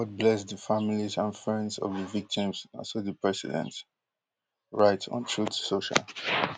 god bless di families and friends of di victims na so di president write on truth social